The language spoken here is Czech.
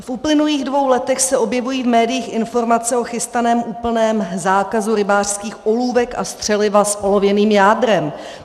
V uplynulých dvou letech se objevují v médiích informace o chystaném úplném zákazu rybářských olůvek a střeliva s olověným jádrem.